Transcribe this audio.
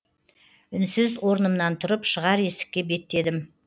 үнсіз орнымнан тұрып шығар есікке беттедім